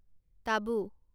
টাবু